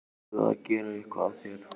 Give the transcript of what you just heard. Varstu að gera eitthvað af þér?